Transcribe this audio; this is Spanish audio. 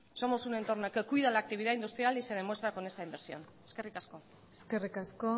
somos un entorno que cuida la actividad industrial y se demuestra con esta inversión eskerrik asko eskerrik asko